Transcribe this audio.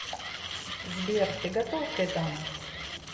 сбер ты готов к этому